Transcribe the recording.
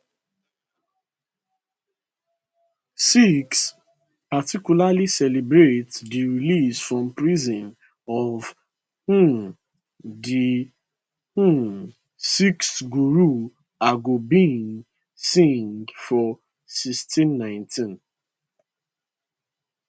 sikhs particularly celebrate di release from prison of um di um sixth guru hargobind singh for1619